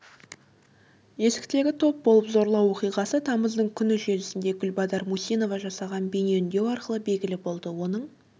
есіктегі топ болып зорлау оқиғасы тамыздың күні желісінде гүлбадар мусинова жасаған бейнеүндеу арқылы белгілі болды оның